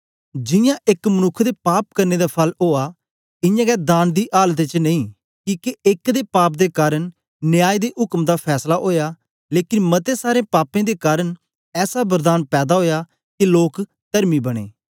जियां एक मनुक्ख दे पाप करने दा फल ओआ इयां गै दान दी आलत च नेई किके एक दे पाप दे कारन न्याय दे उक्म दा फैसला ओया लेकन मते सारे पापें दे कारन ऐसा वरदान पैदा ओया के लोक तरमी बनें